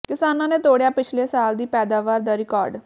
ਕਿਸਾਨਾਂ ਨੇ ਤੋੜਿਆ ਪਿਛਲੇ ਸਾਲ ਦੀ ਪੈਦਾਵਾਰ ਦਾ ਰੀਕਾਰਡ